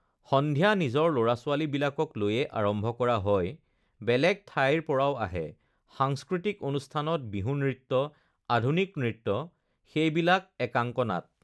সন্ধিয়া নিজৰ ল'ৰা-ছোৱালাী বিলাকক লৈয়ে আৰম্ভ কৰা হয় বেলেগ ঠাইৰপৰাও আহে সাংস্কৃতিক অনুষ্ঠানত বিহু নৃত্য আধুনিক নৃত্য সেইবিলাক একাংক নাট